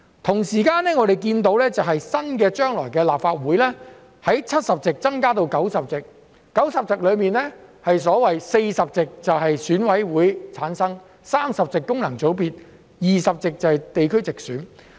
同時，我們看到，將來新一屆的立法會由70席增加至90席，而在90席中有40席由選委會產生 ，30 席是功能界別 ，20 席是地區直選。